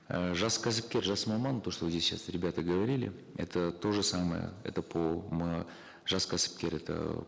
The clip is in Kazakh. э жас кәсіпкер жас маман то что вот здесь сейчас ребята говорили это то же самое это по жас кәсіпкер это